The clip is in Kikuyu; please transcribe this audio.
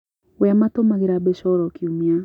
We amatũmagĩra mbeca o kiumia